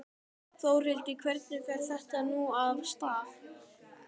Þórhildur, hvernig fer þetta nú af stað?